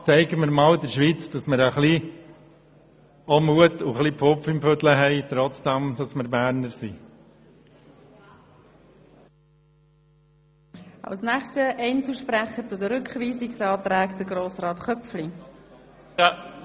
Zeigen wir der Schweiz, dass wir Mut und auch ein wenig «Pfupf im Füdle» haben, obwohl wir Berner sind.